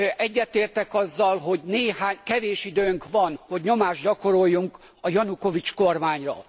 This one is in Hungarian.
Egyetértek azzal, hogy kevés időnk van, hogy nyomást gyakoroljunk a Janukovics kormányra.